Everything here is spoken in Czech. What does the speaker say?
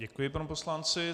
Děkuji panu poslanci.